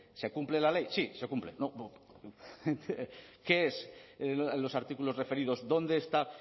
se cumple la ley sí se cumple qué es los artículos referidos dónde está